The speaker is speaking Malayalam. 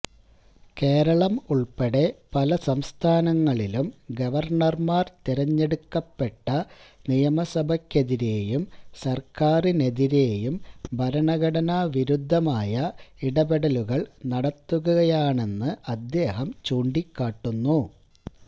കേരളം ഉള്പ്പെടെ പല സംസ്ഥാനങ്ങളിലും ഗവര്ണര്മാര് തെരഞ്ഞെടുക്കപ്പെട്ട നിയമസഭക്കെതിരേയും സര്ക്കാരിനെതിരേയും ഭരണഘടനാ വിരുദ്ധമായ ഇടപെടലുകള് നടത്തുകയാണെന്ന് അദ്ദേഹം ചൂണ്ടിക്കാട്ടുന്നു